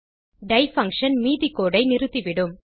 tie function மீதி code ஐ நிறுத்திவிடும்